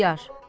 İxtiyar.